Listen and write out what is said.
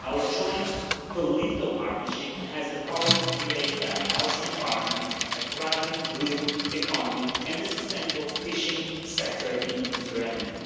Our joint political partnership has the power to create a healthy environment, a thriving blue economy and a sustainable fishing sector in the Mediterranean.